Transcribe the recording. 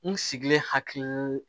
N sigilen hakilunu